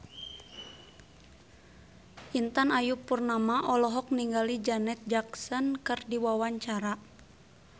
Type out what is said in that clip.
Intan Ayu Purnama olohok ningali Janet Jackson keur diwawancara